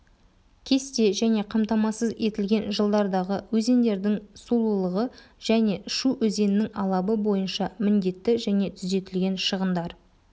кесте және қамтамасыз етілген жылдардағы өзендердің сулылығы және шу өзенінің алабы бойынша міндетті және түзетілген шығындар